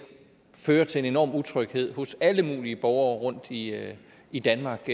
fører til en enorm utryghed hos alle mulige borgere rundt i i danmark